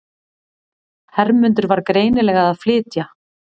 Hermundur var greinilega að flytja.